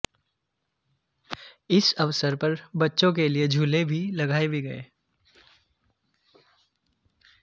इस अवसर पर बच्चोंके लियेझूले भी लगाए भी गए